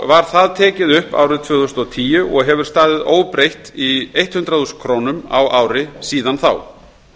var tekið upp árið tvö þúsund og tíu og hefur staðið óbreytt í hundrað þúsund krónur á ári síðan þá